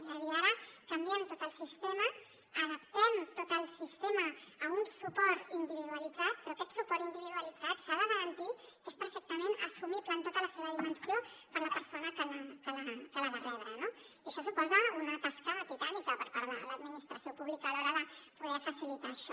és a dir ara canviem tot el sistema adaptem tot el sistema a un suport individualitzat però aquest suport individualitzat s’ha de garantir que és perfectament assumible en tota la seva dimensió per la persona que l’ha de rebre no i això suposa una tasca titànica per part de l’administració pública a l’hora de poder facilitar això